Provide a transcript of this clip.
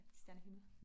Stjernehimmel